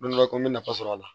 n bɛ nafa sɔrɔ a la